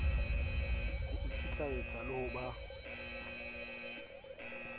ho ikitlaetsa le ho ba